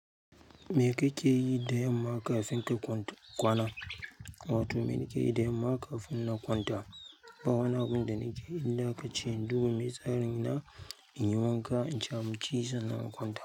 Me kake yi da yamma kafin ka kwanta kwana? Wato me nake yi da yamma kafin na kwanta? Ba wani abuda nakeyi, in da ka ce domin me tsarin na, in yi wanka, in ci abinci, sannan in kwanta.